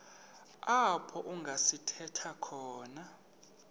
apho kungasithela khona